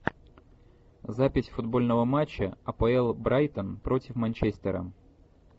запись футбольного матча апл брайтон против манчестера